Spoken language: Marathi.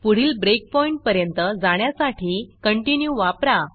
पुढील breakpointब्रेकपॉइण्ट पर्यंत जाण्यासाठी continueकंटिन्यू वापरा